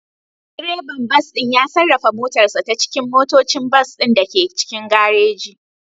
Direban bas ɗin ya sarrafa motarsa ​​ta cikin motocin bas ɗin da ke cikin garejin.